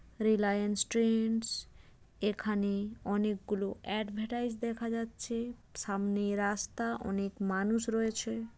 Reliance Trends এখানে অনেক গুলো অ্যাডভারটাইস দেখা যাচ্ছে। সামনে রাস্তা অনেক মানুষ রয়েছে।